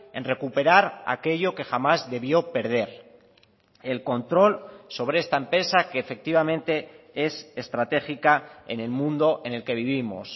en recuperar aquello que jamás debió perder el control sobre esta empresa que efectivamente es estratégica en el mundo en el que vivimos